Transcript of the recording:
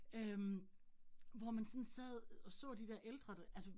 Øh hvor man sådan sad og så de dér ældre, der altså